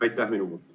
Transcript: Aitäh!